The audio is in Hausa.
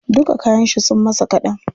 Duka kayan shi sun masa kaɗan.